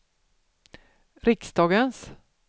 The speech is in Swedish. riksdagens